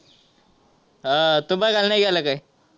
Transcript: हा तू बघायला नाही गेला का?